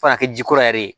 F'a ka kɛ ji kɔrɔ yɛrɛ ye